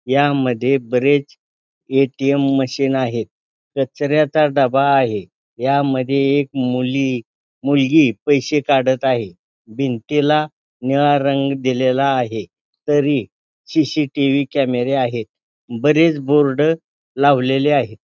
यामध्ये बरेच ATM machine आहेत कचऱ्याचा डबा आहे यामध्ये एक मुली मुलगी पैसे काढत आहे भिंतीला निळा रंग दिलेला आहे तरी सी_सी_टी_व्ही कॅमेरे आहेत बरेच बोर्ड लावलेले आहेत.